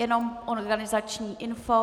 Jenom organizační info: